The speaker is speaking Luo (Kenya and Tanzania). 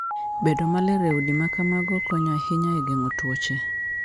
Bedo maler e udi ma kamago konyo ahinya e geng'o tuoche.